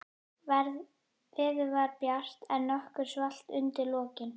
Veður var bjart, en nokkuð svalt undir lokin.